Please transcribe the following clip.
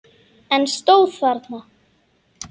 Eruði búin að loka?